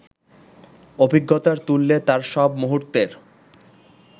অভিজ্ঞতার তুল্যে তার সব মুহূর্তের